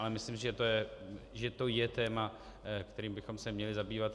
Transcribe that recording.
Ale myslím, že to je téma, kterým bychom se měli zabývat.